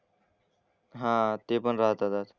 हां ते पण राहतं तर.